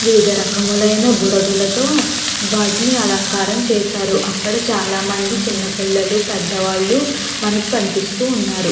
వివిధ రకమైన బుడగలతో వాటిని అలంకారం చేశారు. అక్కడ చాలా మంది చిన్న పిల్లలు పెద్ద వాళ్ళు మనకి కనిపిస్తూ ఉన్నారు.